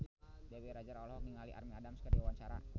Dewi Rezer olohok ningali Amy Adams keur diwawancara